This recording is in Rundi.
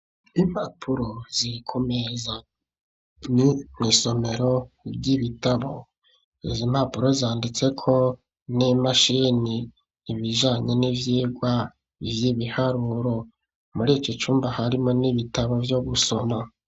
Impapuro, ziri ku meza; ni mw'isomero ry'ibitabo; izi impapuro, zanditseko n'imashini, ibijanye n'ivyigwa vy'ibiharuro; muri iki cumba, harimwo n'ibitabo, vyo gusoma.